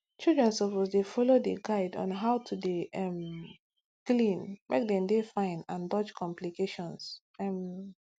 children suppose dey follow di guide on how to dey um clean make dem dey fine and dodge complications um